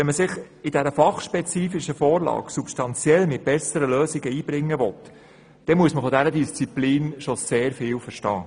Will man im Rahmen dieser fachspezifischen Vorlage substanzielle, bessere Lösungen einbringen, muss man von dieser Disziplin schon sehr viel verstehen.